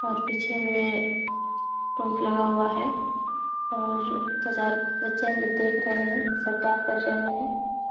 और पीछे में पंख लगा हुआ है और दो चार बच्चे हैं जो देख रहें हैं सर क्या कर रहें हैं।